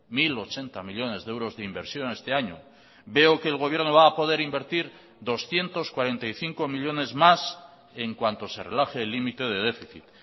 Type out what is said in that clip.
mil ochenta millónes de euros de inversión este año veo que el gobierno va a poder invertir doscientos cuarenta y cinco millónes más en cuanto se relaje el límite de déficit